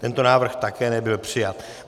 Tento návrh také nebyl přijat.